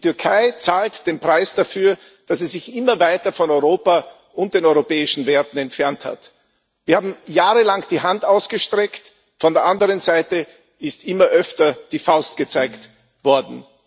Die Türkei zahlt den Preis dafür, dass sie sich immer weiter von Europa und den europäischen Werten entfernt hat. Wir haben jahrelang die Hand ausgestreckt, von der anderen Seite ist immer öfter die Faust gezeigt worden.